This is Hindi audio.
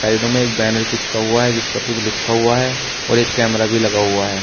साइडों में एक बैनर चिपका हुआ है जिसपर कुछ लिखा हुआ है और एक कैमरा भी लगा हुआ है।